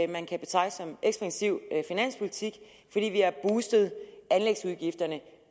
man kan betegne som en ekspansiv finanspolitik idet vi har boostet anlægsudgifterne